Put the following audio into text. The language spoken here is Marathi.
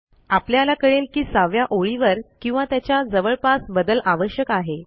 आपल्याला कळेल की 6 व्या ओळीवर किंवा त्याच्या जवळपास बदल आवश्यक आहे